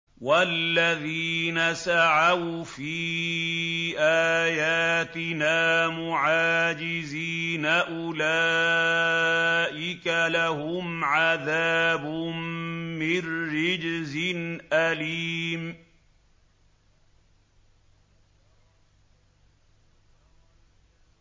وَالَّذِينَ سَعَوْا فِي آيَاتِنَا مُعَاجِزِينَ أُولَٰئِكَ لَهُمْ عَذَابٌ مِّن رِّجْزٍ أَلِيمٌ